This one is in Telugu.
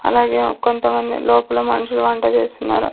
అలాగే ఒక్క కొంతమంది లోపల మనుషులు వంట చేస్తున్నారు.